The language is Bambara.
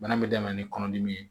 Bana in bɛ daminɛ ni kɔnɔdimi ye